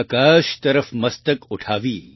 આકાશ તરફ મસ્તક ઉઠાવી